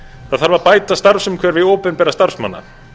það þarf að bæta starfsumhverfi opinberra starfsmanna